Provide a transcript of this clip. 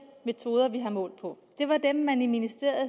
metoder vi har målt på var dem man i ministeriet